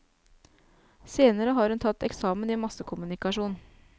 Senere har hun tatt eksamen i massekommunikasjon.